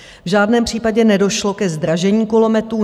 V žádném případě nedošlo ke zdražení kulometů.